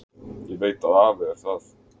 Ég veit að afi er það.